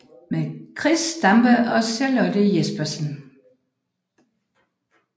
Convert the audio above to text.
Med Chris Stampe og Charlotte Jespersen